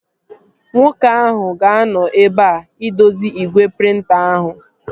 Nwoke ahụ ga-anọ ebea idozi igwe prịnta ahụ